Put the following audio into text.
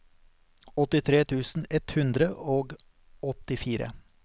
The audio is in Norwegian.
åttitre tusen ett hundre og åttifire